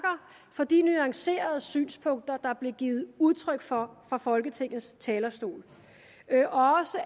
for de nuancerede synspunkter der blev givet udtryk for fra folketingets talerstol